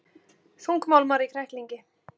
Þungmálmar í kræklingi